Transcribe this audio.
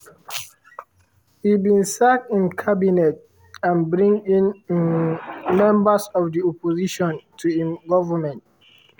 e bin sack im cabinet and bring in um members of di opposition to im goment.